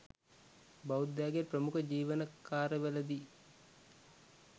බෞද්ධයාගේ ප්‍රමුඛ ජීවන කාර්යවලදී